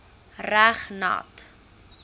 reg nat